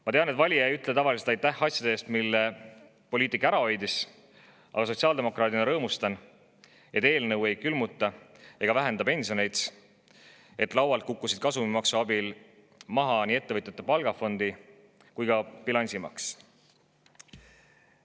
Ma tean, et valija ei ütle tavaliselt aitäh asjade eest, mille poliitik ära hoidis, aga sotsiaaldemokraadina rõõmustan, et eelnõu ei külmuta ega vähenda pensioneid, et laualt kukkusid kasumimaksu abil maha nii ettevõtete palgafondi kui ka bilansi maks.